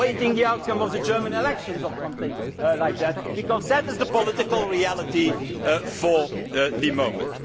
fact? Waiting for the outcome of the German elections or something like that, because that is the political reality for the